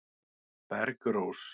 Bergrós